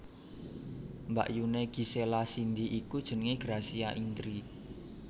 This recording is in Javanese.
Mbakyuné Gisela Cindy iku jenengé Gracia Indri